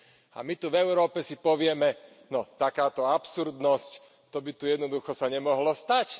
A my tu v Európe si povieme No takáto absurdnosť, to by sa tu jednoducho nemohlo stať!